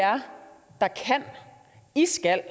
er i stand